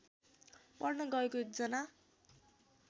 पढ्न गएको एकजना